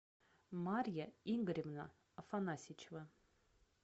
марья игоревна афанасичева